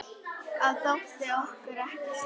Það þótti okkur ekki slæmt.